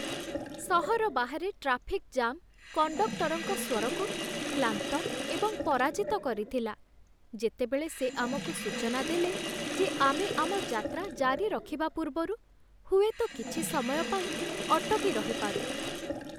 ସହର ବାହାରେ traffic jam କଣ୍ଡକ୍ଟରଙ୍କ ସ୍ୱରକୁ କ୍ଲାନ୍ତ ଏବଂ ପରାଜିତ କରିଥିଲା, ଯେତେବେଳେ ସେ ଆମକୁ ସୂଚନା ଦେଲେ ଯେ ଆମେ ଆମ ଯାତ୍ରା ଜାରି ରଖିବା ପୂର୍ବରୁ ହୁଏତ କିଛି ସମୟ ପାଇଁ ଅଟକି ରହିପାରୁ।